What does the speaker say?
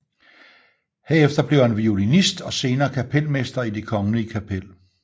Herefter blev han violinist og senere kapelmester i Det Kongelige Kapel